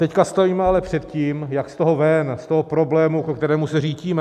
Teď stojíme ale před tím, jak z toho ven, z toho problému, ke kterému se řítíme.